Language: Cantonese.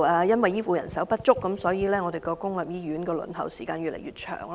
由於醫護人手不足，本港公立醫院的輪候時間越來越長。